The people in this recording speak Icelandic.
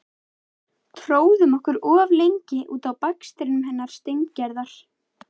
Tróðum okkur of lengi út á bakstrinum hennar Steingerðar.